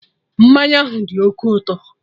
Mmanya ahụ dị oké ụtọ